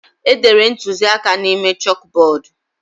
Edere ntuziaka a n'ime chọkbọọdu.